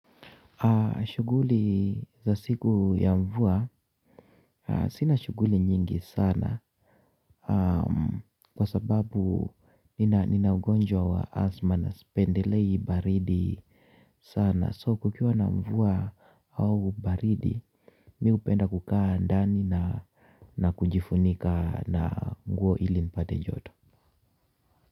Shughuli za siku ya mvua, sina shughuli nyingi sana kwa sababu nina ugonjwa wa asthma na sipendelei baridi sana so kukiwa na mvua au baridi mi hupenda kukaa ndani na kujifunika na nguo ili nipate joto.